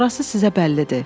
Sonrası sizə bəllidir.